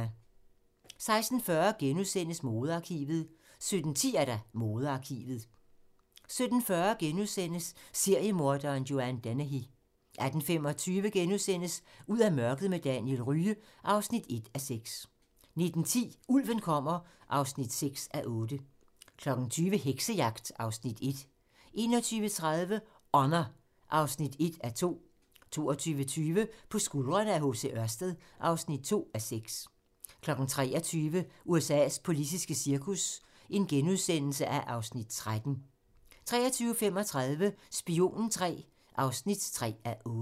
16:40: Modearkivet * 17:10: Modearkivet 17:40: Seriemorderen Joanne Dennehy * 18:25: Ud af mørket med Daniel Rye (1:6)* 19:10: Ulven kommer (6:8) 20:00: Heksejagt (Afs. 1) 21:30: Honour (1:2) 22:20: På skuldrene af H.C. Ørsted (2:6) 23:00: USA's politiske cirkus (Afs. 13)* 23:35: Spionen III (3:8)